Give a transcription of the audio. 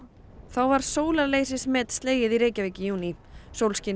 var slegið í Reykjavík í júní